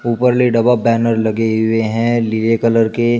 ऊपर ले double banner लगे हुए हैं नीले कलर के